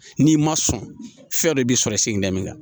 N'i ma sɔn fɛn dɔ b'i sɔrɔ i segin min kan